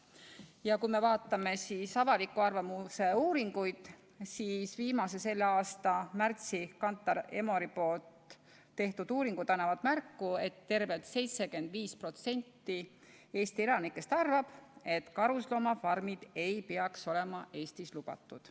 Ja kui me vaatame avaliku arvamuse uuringuid, siis viimased, selle aasta märtsis Kantar Emori tehtud uuringud annavad märku, et tervelt 75% Eesti elanikest arvab, et karusloomafarmid ei peaks olema Eestis lubatud.